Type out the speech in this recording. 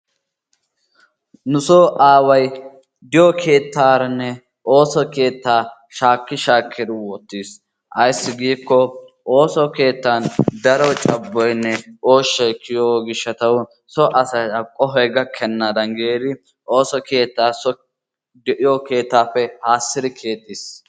Nu so aaway diyo keettaarane ooso keettaa shaki shakkidi wottiis. Ayssi gikko ooso keettan daro cabboyne ooshay kiyiyo gishshatawu so asay a qohoy gakkenadan giidi ooso keettaaso de'iyo keettaappe haasidi keexxiis.